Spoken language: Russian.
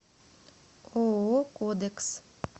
ооо кодекс